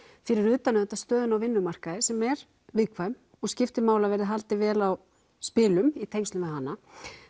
fyrir utan auðvitað stöðuna á vinnumarkaði sem er viðkvæm og skiptir máli að verði haldið vel á spilum í tengslum við hana